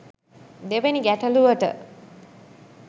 දෙවනි ගැටලුවට